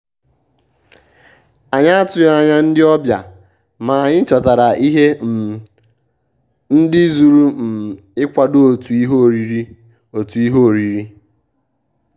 ànyị́ àtụ́ghị́ ányà ndị́ ọ́bị̀à mà ànyị́ chọ́tàrà ìhè um ndị́ zùrù um ìkwádò òtù ìhè órírí. òtù ìhè órírí.